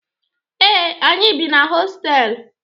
Ee, anyị bi na hostelu.